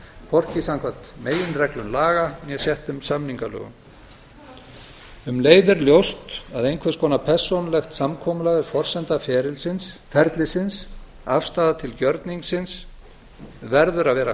hvorki samkvæmt meginreglum laga né settum samningalögum um leið er ljóst að einhvers konar persónulegt samkomulag er forsenda ferlisins afstaða til gjörningsins verður að vera